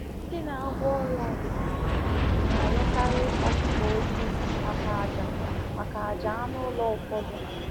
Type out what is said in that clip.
Ndị na-agwọ ọrịa ọdịnala na-arịọkarị ọkụkọ ojii maka àjà maka àjà anụ ụlọ ụfọdụ.